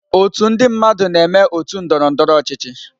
Otu ndị mmadụ na-eme otu ndọrọ ndọrọ ọchịchị.